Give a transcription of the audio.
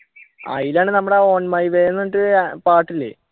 അയിലാണ് നമ്മുടെ on my way ന്ന് പറഞ്ഞിട്ട് അഹ് പാട്ടില്ലേ